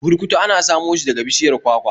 Burkutu ana samo shi daga bishiyar kwakwa